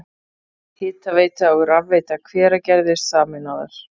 Hitaveita og rafveita Hveragerðis sameinaðar.